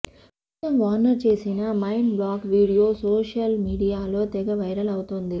ప్రస్తుతం వార్నర్ చేసిన mind block video social మీడియాలో తెగ వైరల్ అవుతోంది